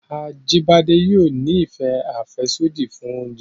Ajíbádé yóò ni ìfẹ àfẹ́sódì fún oúnjẹ